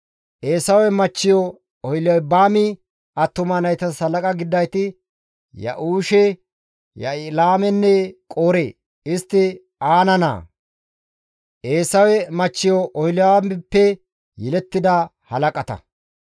Eesawe machchiyo Oholibaami attuma naytas halaqa gididayti Ya7uushe, Ya7ilaamenne Qoore; istti Aana naa, Eesawe machchiyo Oholibaamippe yelettida halaqata.